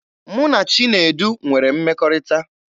Mụ na Chinedu nwere mmekọrịta.